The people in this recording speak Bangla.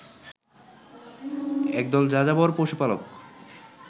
একদল যাযাবর পশুপালক